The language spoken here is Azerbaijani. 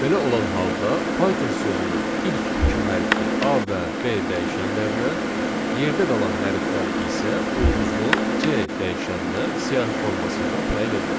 Belə olan halda Python sözünün ilk iki hərfi A və B dəyişənlərinə, yerdə qalan hərflər isə ulduzlu C dəyişənnə siyahı formasında təyin ediləcək.